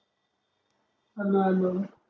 hello hello